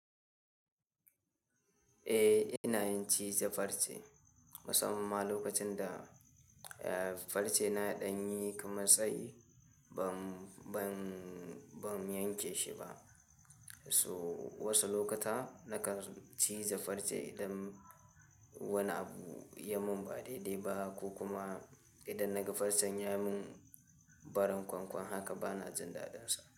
Eh, ina yin ciza farce. Musamman lokacin da, eh, farce na ɗanye kuma tsayi ban, ban, ban yanke shi ba. So wasu lokuta nakan ciza farce idan wani abu ya mun ba daidai ba ko kuma idan naga farcen ya mun barin kwankwan haka bana jin daɗinsa.